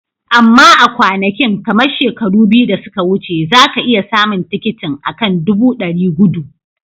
Amma a kwanakin, kamar shekaru biyu da suka wuce, za ka iya samun tikitin, a kan dubu dari gudu.